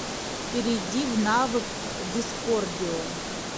перейди в навык дискордио